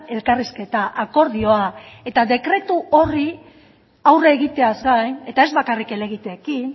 elkarrizketa akordioa eta dekretu horri aurre egiteaz gain eta ez bakarrik helegiteekin